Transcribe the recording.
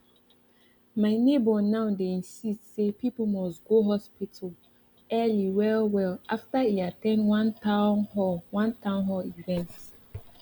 my neighbor now dey insist say people must go hospital early well well after e at ten d one town hall one town hall event